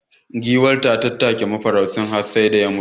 Giwar ta tattake mafaraucin har sai da ya mutu.